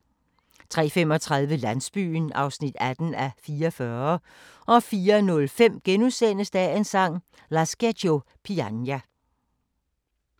03:35: Landsbyen (18:44) 04:05: Dagens Sang: Lascia ch'io pianga *